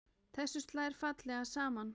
Þessu slær fallega saman.